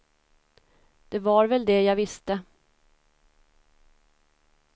Det var väl det jag visste.